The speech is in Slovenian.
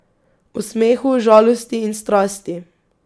O smehu, žalosti in strasti.